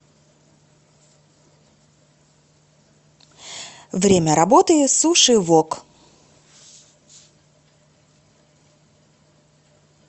время работы суши вок